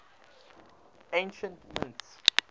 ancient mints